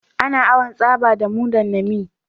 Ana awan tsaba da mudan nami